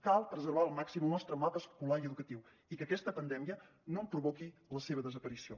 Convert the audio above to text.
cal preservar al màxim el nostre mapa escolar i educatiu i que aquesta pandèmia no en provoqui la desaparició